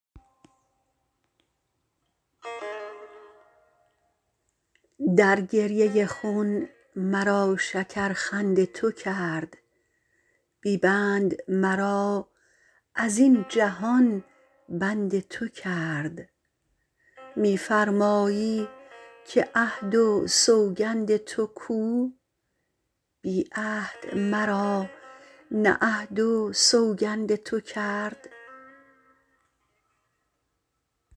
در گریه خون مرا شکر خند تو کرد بی بند مرا از این جهان بند تو کرد می فرمایی که عهد و سوگند تو کو بی عهد مرا نه عهد و سوگند تو کرد